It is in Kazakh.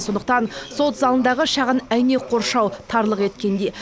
сондықтан сот залындағы шағын әйнек қоршау тарлық еткендей